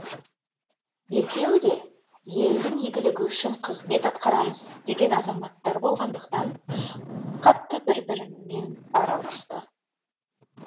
екеуі де елдің игілігі үшін қызмет атқарамыз деген азаматтар болғандықтан қатты бір бірімен араласты